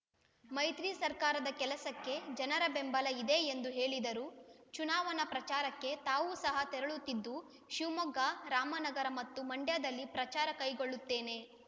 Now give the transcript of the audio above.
ಮೈತ್ರಿ ಸರ್ಕಾರದ ಕೆಲಸಕ್ಕೆ ಜನರ ಬೆಂಬಲ ಇದೆ ಎಂದು ಹೇಳಿದರು ಚುನಾವಣಾ ಪ್ರಚಾರಕ್ಕೆ ತಾವು ಸಹ ತೆರಳುತ್ತಿದ್ದು ಶಿವಮೊಗ್ಗ ರಾಮನಗರ ಮತ್ತು ಮಂಡ್ಯದಲ್ಲಿ ಪ್ರಚಾರ ಕೈಗೊಳ್ಳುತ್ತೇನೆ